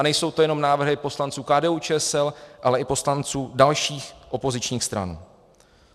A nejsou to jen návrhy poslanců KDU-ČSL, ale i poslanců dalších opozičních stran.